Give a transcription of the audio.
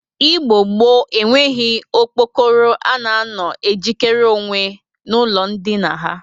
Igbo gboo eweghi okpokoro a na-anọ e jikere onwe n'ụlọ ndịna ha